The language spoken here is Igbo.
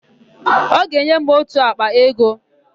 Ọ ga-enye m ótù àkpà ego.